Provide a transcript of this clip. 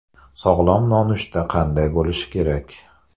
Sog‘lom nonushta qanday bo‘lishi kerak?